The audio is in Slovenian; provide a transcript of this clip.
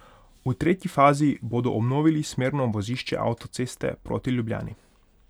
V tretji fazi bodo obnovili smerno vozišče avtoceste proti Ljubljani.